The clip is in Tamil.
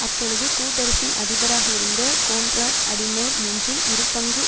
அப்பொழுது கூட்டரசின் அதிபராக இருந்த கோன்ராட் அடிநோர் மூன்றில் இருபங்கு